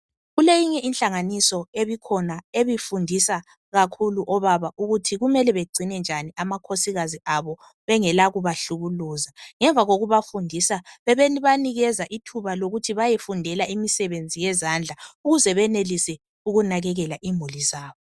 Kuleyinye inhlanganiso ebikhona ebifundisa kakhulu obaba ukuthi kumele begcine njani amakhosikazi abo bengela kubahlukukuza. Ngemva kokubafundisa bebebanikeza ithuba lokuthi bayefundela imisebenzi yezandla ukuze benelise ukunakekela imuli zabo.